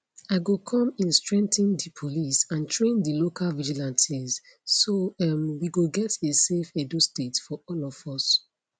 i go come in strengthen di police and train di local vigilantes so um we go get a safe edo state for all of us